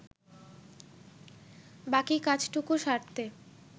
বাকি কাজটুকু সারতে